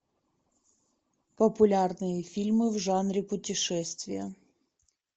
популярные фильмы в жанре путешествия